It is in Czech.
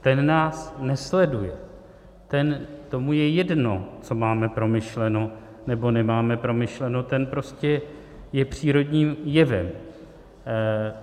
Ten nás nesleduje, tomu je jedno, co máme promyšleno nebo nemáme promyšleno, ten je prostě přírodním jevem.